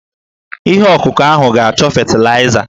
Ihe ọkụkụ ahụ ga-achọ fetịlaịza.